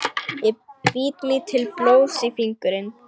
Ég bít mig til blóðs í fingurinn.